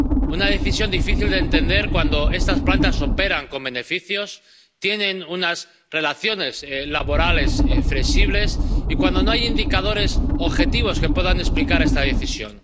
Una decisión difícil de entender, cuando estas plantas operan con beneficios, tienen unas relaciones laborales flexibles y no hay indicadores objetivos que puedan explicar esta decisión.